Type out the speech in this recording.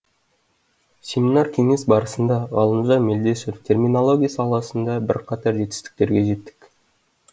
семинар кеңес барысында ғалымжан мелдешов терминология саласында бірқатар жетістіктерге жеттік